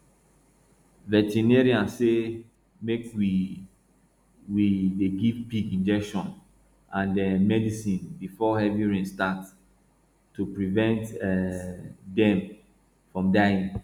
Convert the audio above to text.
veterinary say make we we dey give pig injection and um medicine before heavy rain start to prevent um dem from dying